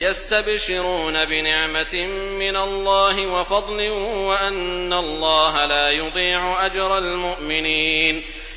۞ يَسْتَبْشِرُونَ بِنِعْمَةٍ مِّنَ اللَّهِ وَفَضْلٍ وَأَنَّ اللَّهَ لَا يُضِيعُ أَجْرَ الْمُؤْمِنِينَ